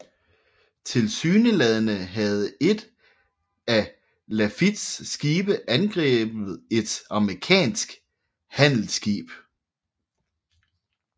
Tilsyneladende havde et af Lafittes skibe angrebet et amerikansk handelsskib